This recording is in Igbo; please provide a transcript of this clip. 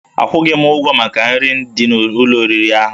Akwụghị m ụgwọ maka nri dị n'ụlọ oriri ahụ